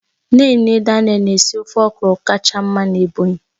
Nne nne Daniel na-esi ofe okro kacha mma n'Ebonyi